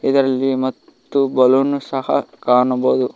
ಇದರಲ್ಲಿ ಮತ್ತು ಬಲುನ ಸಹ ಕಾಣಬಹುದು.